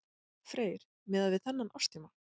Freyr: Miðað við þennan árstíma?